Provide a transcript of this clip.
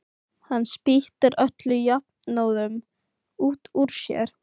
Hann spýtir öllu jafnóðum út úr sér.